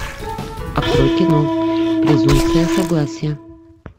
открой кино презумпция согласия